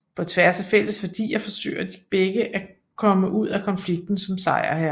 På tværs af fælles værdier forsøger de begge at komme ud af konflikten som sejrherre